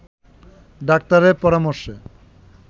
ডাক্তারের পরামর্শে